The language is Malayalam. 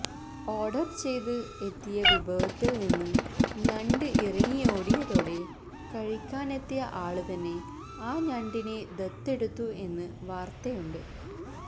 ഓഡര് ചെയ്ത് എത്തിയ വിഭവത്തില് നിന്ന് ഞണ്ട് ഇറങ്ങിയോടിയതോടെ കഴിക്കാനെത്തിയ ആള് തന്നെ ആ ഞണ്ടിനെ ദത്തെടുത്തു എന്നു വാര്ത്തയുണ്ട്